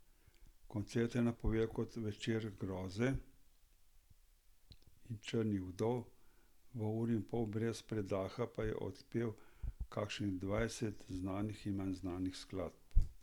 Koncert je napovedal kot večer groze in črnih vdov, v uri in pol brez predaha pa je odpel kakšnih dvajset znanih in manj znanih skladb.